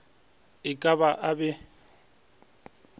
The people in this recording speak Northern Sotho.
e ka ba a be